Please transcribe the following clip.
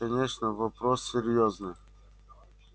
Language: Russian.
конечно вопрос серьёзный